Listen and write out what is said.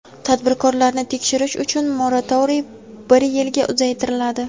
Tadbirkorlarni tekshirish uchun moratoriy bir yilga uzaytiriladi.